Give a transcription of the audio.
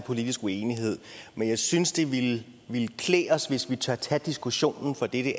politisk uenighed men jeg synes det ville klæde os hvis vi turde tage diskussionen for det